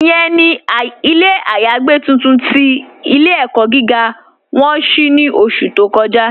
Ìyẹ̀n ni ilẹ̀ ayàgbẹ̀ tuntun tí ilẹ̀-ẹ̀kọ́ gígá wọn ṣí ní ọ̀ṣù tó kọ́ja.